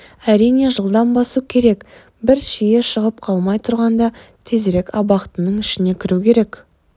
әрине жылдам басу керек бір шиі шығып қалмай тұрғанда тезірек абақтының ішіне кіру керек